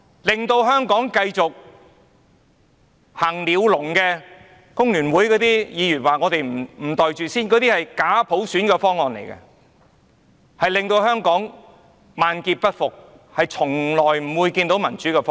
令香港繼續在鳥籠中行走的工聯會議員說我們不肯"袋住先"，但假普選方案只會令香港萬劫不復，從來也不是達致民主的方案。